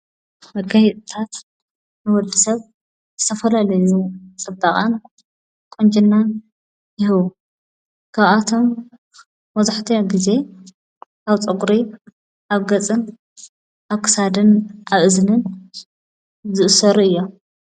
መገህቕታት ንወዲ ሰብ ዝሰፈላለዩ ጸበቓን ቖንጀናን ይህዉ ካብኣቶም ወዙሕተ ጊዜ ኣውፀጕሪ ኣገፅን ኣሳድን ኣእዝንን ዘእሠሩ እዮም።